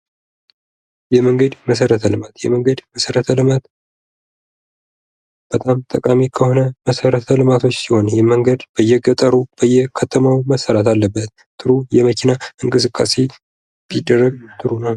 የመንገድ መሰረት ልማት የመንገድ መሰረት ልማት በጣም ጠቃሚ ከሆነ መሰረት ልማት ሲሆን ይህ መንገድ በየገጠሩ በየከተማው መሰራት አለበት። ጥሩ የመኪና እንቅስቃሴ ቢደረግ ጥሩ ነው።